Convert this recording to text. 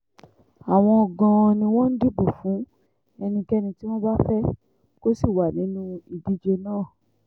àwọn gan-an ni wọ́n ń dìbò fún ẹnikẹ́ni tí wọ́n bá fẹ́ kó sì wà nínú ìdíje náà